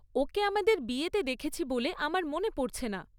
ওকে আমাদের বিয়েতে দেখেছি বলে আমার মনে পড়ছে না।